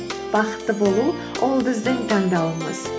бақытты болу ол біздің таңдауымыз